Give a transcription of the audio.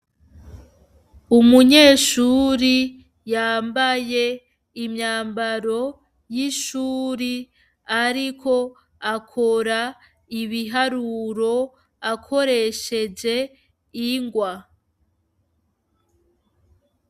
Umunyeshuri yambaye imyambaro y'ishuri ariko akora ibiharuro akoresheje ingwa.